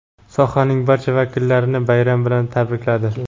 sohaning barcha vakillarini bayram bilan tabrikladi.